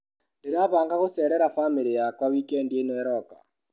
Ndĩrabanga gũcerera bamĩrĩ yakwa wikendi ĩno ĩroka.